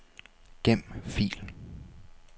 Gem fil.